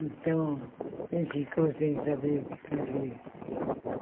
Então, ele ficou sem saber o que fazer.